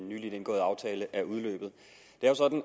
nylig indgåede aftale er udløbet